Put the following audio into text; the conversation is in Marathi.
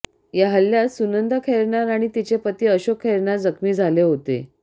या हल्ल्यात सुनंदा खैरनार आणि तिचे पती अशोक खैरनार जखमी झाले होते